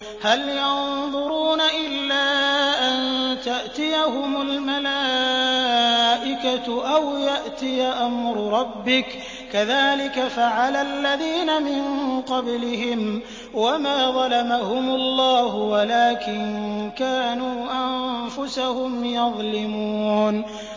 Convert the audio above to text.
هَلْ يَنظُرُونَ إِلَّا أَن تَأْتِيَهُمُ الْمَلَائِكَةُ أَوْ يَأْتِيَ أَمْرُ رَبِّكَ ۚ كَذَٰلِكَ فَعَلَ الَّذِينَ مِن قَبْلِهِمْ ۚ وَمَا ظَلَمَهُمُ اللَّهُ وَلَٰكِن كَانُوا أَنفُسَهُمْ يَظْلِمُونَ